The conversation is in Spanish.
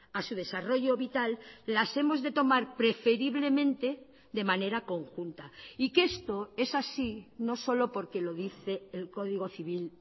a su desarrollo vital las hemos de tomar preferiblemente de manera conjunta y que esto es así no solo porque lo dice el código civil